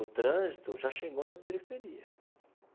O trânsito já chegou na periferia.